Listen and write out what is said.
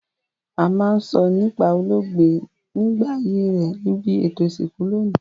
A ma n sọ nípá olóògbé nígbà ayé rẹ nibi ètò ìsìnkú loní